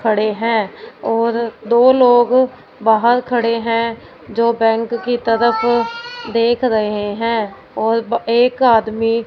खड़े है और दो लोग बाहर खड़े है जो बैंक की तरफ देख रहे है और एक आदमी--